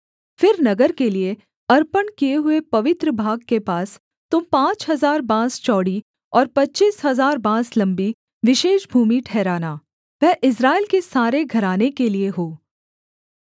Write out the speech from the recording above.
फिर नगर के लिये अर्पण किए हुए पवित्र भाग के पास तुम पाँच हजार बाँस चौड़ी और पच्चीस हजार बाँस लम्बी विशेष भूमि ठहराना वह इस्राएल के सारे घराने के लिये हो